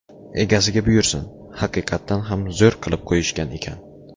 Egasiga buyursin, haqiqatdan ham zo‘r qilib qo‘yishgan ekan.